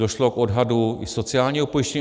Došlo k odhadu i sociálního pojištění.